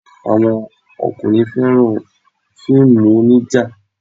Àwọn ọkùnrin fẹ́ràn fíìmù onija.